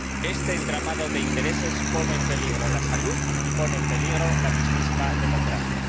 Este entramado de intereses pone en peligro la salud y pone en peligro la mismísima democracia.